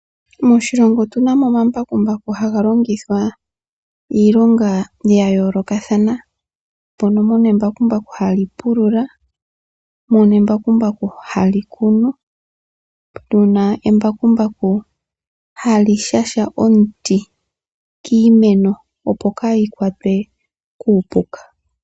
Moshilongo otuna mo omambakumbaku haga longithwa iilonga ya yoolokathana mono embakumbaku hali pulula ,hali kunu ,hali shasha omuti kiimeno opo kali kwatwe kuupuka .